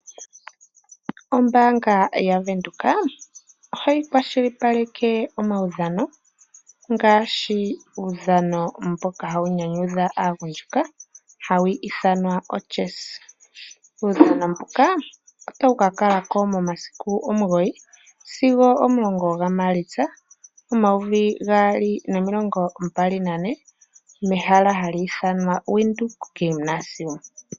Ombaanga yaWindhoek oha yi kwashilipaleka omawudhano ngaashi, uudhano mboka hawu nyanyudha aagundjuka ha wu ithanwa ochessa. Uudhano mbuka ota wu ka kala ko momasiku 9 sigo 10 gaMaalitsa 2024 mehala ha li ithanwa Windhoek Gymnasium.